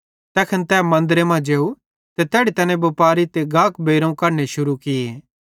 तैखन तै मन्दरे मां जेव ते तैड़ी तैने बुपारी ते गाक बेइरोवं कढने शुरू किये